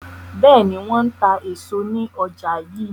Bẹ́ẹ̀ni, wọn máa ń ta èso ní ọjà yii.